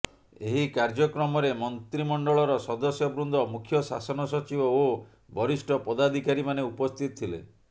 ଏହି କାର୍ଯ୍ୟକ୍ରମରେ ମନ୍ତ୍ରିମଣ୍ଡଳର ସଦସ୍ୟବୃନ୍ଦ ମୁଖ୍ୟ ଶାସନ ସଚିବ ଓ ବରିଷ୍ଠ ପଦାଧିକାରୀମାନେ ଉପସ୍ଥିତ ଥିଲେ